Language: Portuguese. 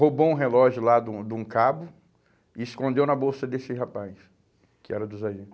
Roubou um relógio lá de um de um cabo e escondeu na bolsa desse rapaz, que era do sargente.